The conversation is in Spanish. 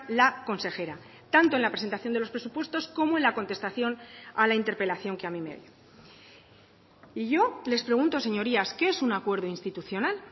la consejera tanto en la presentación de los presupuestos como en la contestación a la interpelación que a mí me dio y yo les pregunto señorías qué es un acuerdo institucional